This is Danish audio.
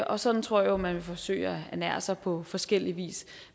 og sådan tror jeg jo man vil forsøge at ernære sig på forskellig vis